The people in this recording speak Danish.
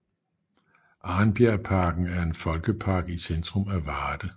Arnbjerg Parken er en folkepark i centrum af Varde